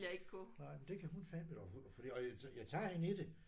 Nej men det kan hun fandeme dog. Fordi og det og jeg jeg tager hende i det